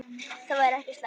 Það væri ekki slæmt.